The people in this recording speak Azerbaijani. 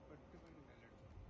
Bütün bunlar.